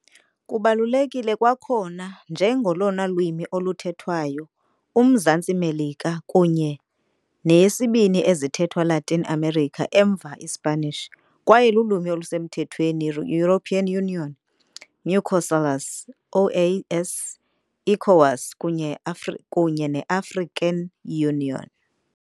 Kubalulekile kwakhona njengolona lwimi oluthethwayo Umzantsi Melika kunye yesibini ezithethwa Latin America emva iSpanish, kwaye lulwimi olusemthethweni European Union, Mercosul, OAS, ECOWAS kunye African Union.